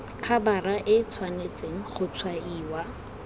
khabara e tshwanetse go tshwaiwa